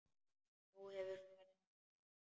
Nú, hefurðu farið þangað?